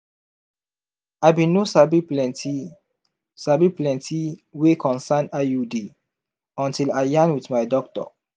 i bin no sabi plenti sabi plenti wey concern iud until i yarn wit my doctor